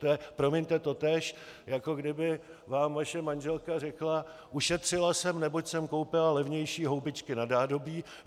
To je, promiňte, totéž, jako kdyby vám vaše manželka řekla: "Ušetřila jsem, neboť jsem koupila levnější houbičky na nádobí.